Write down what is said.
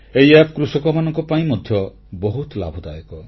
ଏହି ଆପ୍ କୃଷକମାନଙ୍କ ପାଇଁ ମଧ୍ୟ ବହୁତ ଲାଭଦାୟକ